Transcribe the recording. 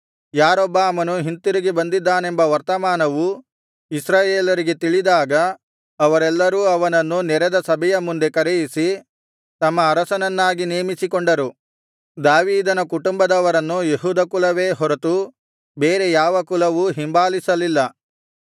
ಯಾರೊಬ್ಬಾಮನು ಹಿಂತಿರುಗಿ ಬಂದಿದ್ದಾನೆಂಬ ವರ್ತಮಾನವು ಇಸ್ರಾಯೇಲರಿಗೆ ತಿಳಿದಾಗ ಅವರೆಲ್ಲರೂ ಅವನನ್ನು ನೆರೆದ ಸಭೆಯ ಮುಂದೆ ಕರೆಯಿಸಿ ತಮ್ಮ ಅರಸನನ್ನಾಗಿ ನೇಮಿಸಿಕೊಂಡರು ದಾವೀದನ ಕುಟುಂಬದವರನ್ನು ಯೆಹೂದ ಕುಲವೇ ಹೊರತು ಬೇರೆ ಯಾವ ಕುಲವೂ ಹಿಂಬಾಲಿಸಲಿಲ್ಲ